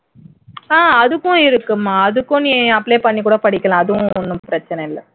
அஹ் அதுக்கும் இருக்குமா அடுக்கும் நீ apply பண்ணி கூட படிக்கலாம் அதும் ஒண்ணும் பிரச்சினை இல்லை